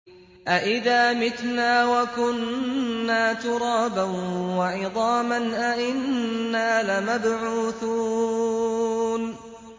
أَإِذَا مِتْنَا وَكُنَّا تُرَابًا وَعِظَامًا أَإِنَّا لَمَبْعُوثُونَ